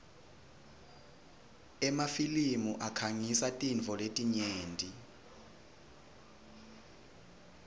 emafilimi akhangisa tintfo letinyenti